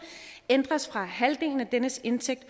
ændres fra halvdelen af dennes indtægt